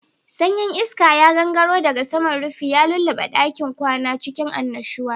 Sanyin iska ya gangaro daga saman rufin, ya lulluɓe ɗakin kwana cikin annashuwa.